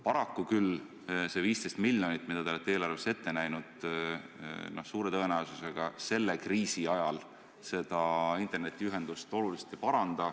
Paraku see 15 miljonit, mida te olete eelarves selleks ette näinud, suure tõenäosusega selle kriisi ajal internetiühendust oluliselt ei paranda.